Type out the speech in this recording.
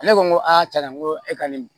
Ne ko n ko aa cɛn na n ko e ka nin